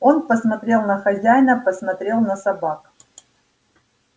он посмотрел на хозяина посмотрел на собак